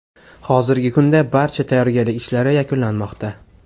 Hozirgi kunda barcha tayyorgarlik ishlari yakunlanmoqda.